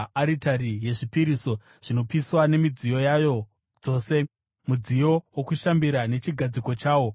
aritari yezvipiriso zvinopiswa nemidziyo yayo dzose, mudziyo wokushambira nechigadziko chawo,